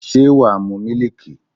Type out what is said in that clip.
Ṣé wàá mu mílíìkì?